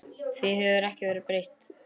Því hefur ekki verið breytt.